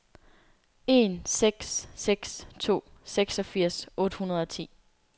en seks seks to seksogfirs otte hundrede og ti